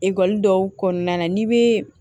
Ekɔliden dɔw kɔnɔna na n'i bɛ